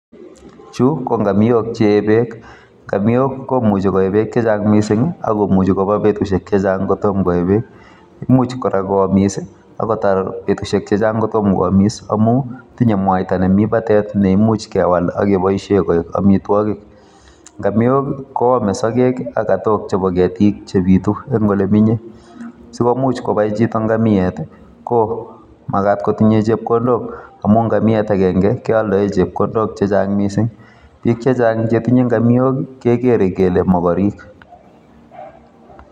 Chu ko ngamiok che yeeh beek, ngamiok komuche koyee beek chechang missing akomuchi kobaa betusiek chechang kotom koee beek ,imuchi kora koamis akotar betusiek chechang kotom koamis amun tinye mwaita en batet neimuch kewal akeboishien koik amitwogiik. Ngamiok kwome sogeek ak katook chebo keetik chebitu en olemenye. sikomuch kobai chito ngamiet I,komagaat kotinye chepkondok, amun ngamiat agenge kialen chepkondok chechang missing, bik chechang chetinye ngamiok kegeere kele mogorek